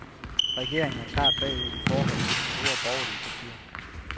Regeringen er klart bagud i forhold til de to store borgerlige partier.